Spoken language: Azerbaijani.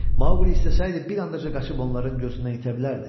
Maquli istəsəydi bir anadaca qaçıb onların gözündən itə bilərdi.